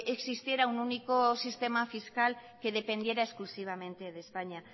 existiera un único sistema fiscal que dependiera exclusivamente de españa